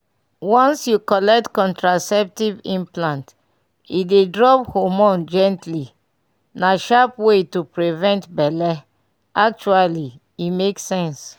once you collect contraceptive implant e dey drop hormone gently — na sharp way to prevent belle actually e make sense.